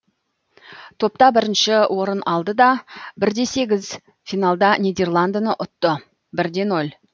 топта бірінші орын алды да бір де сегіз финалда нидерландыны ұтты бір де ноль